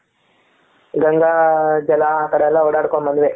ಗಂಗಾ ಜಲ ಅ ಕಡೆ ಎಲ್ಲ ಓಡಾಡ್ಕೊಂಡ್ ಬಂದ್ವಿ,